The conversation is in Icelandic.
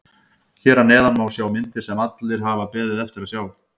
Hér að neðan má sjá myndir sem allir hafa beðið eftir að sjá.